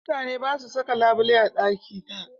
Mutane ba su saka labule a ɗaki da